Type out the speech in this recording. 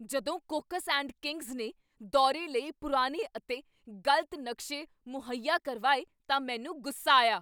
ਜਦੋਂ Cox and Kings ਨੇ ਦੌਰੇ ਲਈ ਪੁਰਾਣੇ ਅਤੇ ਗ਼ਲਤ ਨਕਸ਼ੇ ਮੁਹੱਈਆ ਕਰਵਾਏ ਤਾਂ ਮੈਨੂੰ ਗੁੱਸਾ ਆਇਆ।